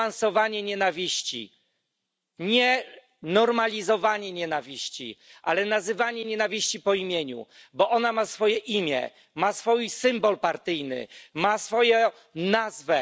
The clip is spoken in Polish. Nie niuansowanie nienawiści, nie normalizowanie nienawiści, ale nazywanie nienawiści po imieniu, bo ona ma swoje imię, ma swój symbol partyjny, ma swoją nazwę.